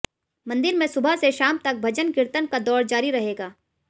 मंदिर में सुबह से शाम तक भजन कीर्तन का दौर जारी रहेगा